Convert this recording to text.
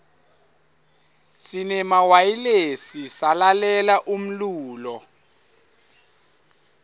sinemawayilesi salalela umlulo